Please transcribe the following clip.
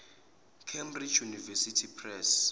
cambridge university press